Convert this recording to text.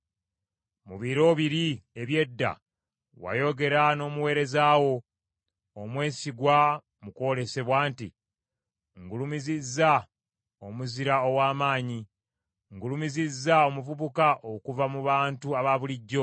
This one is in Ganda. Mu biro biri eby’edda wayogera n’omuweereza wo omwesigwa mu kwolesebwa nti, Ngulumizizza omuzira ow’amaanyi; ngulumizizza omuvubuka okuva mu bantu abaabulijjo.